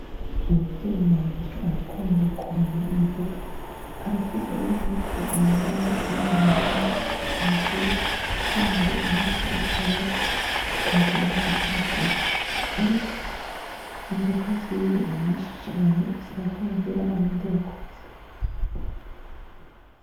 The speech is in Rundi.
Umuvyeyi wanje arakunda kurima imboga, arafise n'impuzu yambara yo mu mirima icafuye kugira ngo impuzu atwara ku kazi ntizicafure ariko imboga ziwe ni nyinshi cane bisaba ko arondera abandi bakoze.